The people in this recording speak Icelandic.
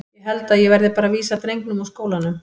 Ég held að ég verði bara að vísa drengnum úr skólanum.